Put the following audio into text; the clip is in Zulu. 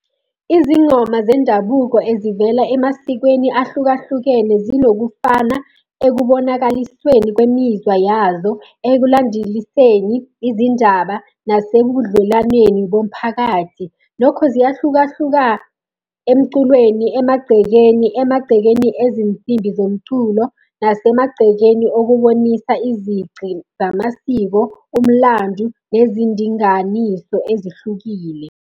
Izingoma zendabuko ezivela emasikweni ahlukahlukene zinokufana ekubonakalisweni kwemizwa yazo ekulandeliseni izindaba nasebudlelwaneni bomphakathi. Nokho ziyahlukahluka emculweni, emagcekeni, emagcekeni ezinsimbi zomculo, nasemagcekeni okubonisa izici zamasiko, umlando nezindinganiso ezihlukile.